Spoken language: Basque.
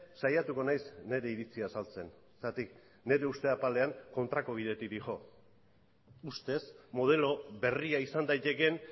saiatuko naiz nire iritzia azaltzen zergatik nire uste apalean kontrako bidetik doa ustez modelo berria izan daitekeen